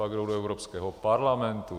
Pak jdou do Evropského parlamentu.